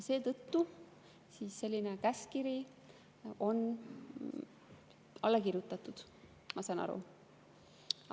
Seetõttu on selline käskkiri alla kirjutatud, ma saan nii aru.